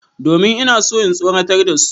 Domin ina so in tsoratar da su.